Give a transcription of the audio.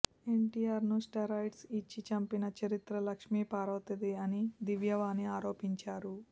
ఎన్టీఆర్కు స్టెరాయిడ్స్ ఇచ్చి చంపిన చరిత్ర లక్ష్మీపార్వతిది అని దివ్యవాణి ఆరోపించారు